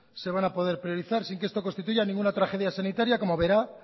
se van a poder priorizar sin que esto constituya ninguna tragedia sanitaria como verá